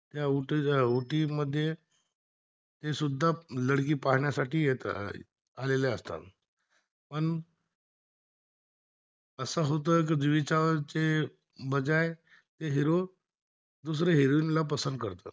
ते सुद्धा लडकी पाहण्यासाठी येथे आलेल असता, पण असा होतोय जुई चावला च्या बजाय ते हिरो दुसरी हिरोईन ला पसंद करतात